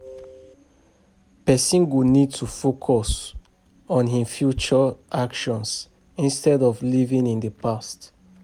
Person go need to focus on im future actions instead of living in the past